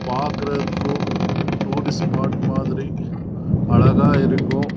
பாக்கறதுக்கு tourist spot மரி அழகா இருக்கும்